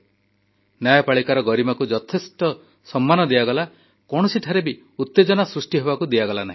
ନ୍ୟାୟପାଳିକାର ଗରିମାକୁ ଯଥେଷ୍ଟ ସମ୍ମାନ ଦିଆଗଲା କୌଣସିଠାରେ ବି ଉତେଜନା ସୃଷ୍ଟି ହେବାକୁ ଦିଆଗଲା ନାହିଁ